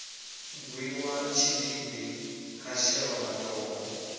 gwiwa tshidindi ha shelwa matombo